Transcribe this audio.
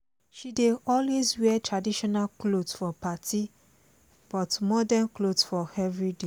she dey always wear traditional cloth for party but modern cloth for everyday